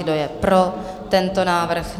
Kdo je pro tento návrh?